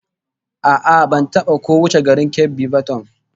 A'a, ban taba ko wuce garin Keffi ba tkun